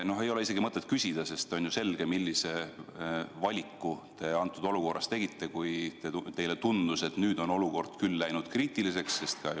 No ei ole isegi mõtet küsida, sest on ju selge, millise valiku te tegite olukorras, kus teile tundus, et nüüd on küll asjad kriitiliseks läinud.